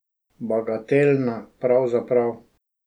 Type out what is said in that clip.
Bagatelna, pravzaprav.